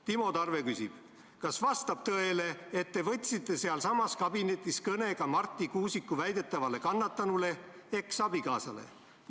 Timo Tarve küsib: "Kas vastab tõele, et te võtsite sealsamas kabinetis kõne ka Marti Kuusiku väidetavale kannatanule, eksabikaasale?